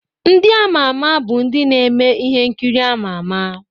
Ndị ámá ámá bụ ndị na-eme ihe nkiri ámá ámá.